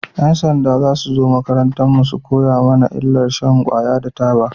Yan sanda za su zo makarantar mu su koya mana illar shan kwaya da taba